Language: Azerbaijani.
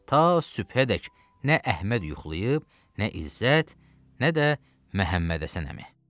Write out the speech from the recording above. Ta sübhədək nə Əhməd yuxlayıb, nə İzzət, nə də Məhəmmədhəsən əmi.